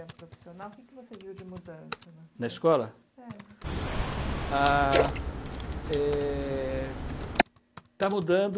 profissional, o que você viu de mudança? Na escola? É. Ah, é, está mudando